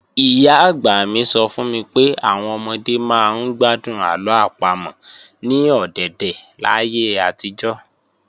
Ìyá-àgbà mi sọ fún mi pé àwọn ọmọdé máa ń gbádùn àlọ́ àpamọ̀ ní ọ̀dèdè láyé àtijọ́